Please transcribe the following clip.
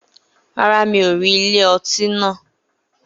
Rárá, mi ò rí ilé ọtí náà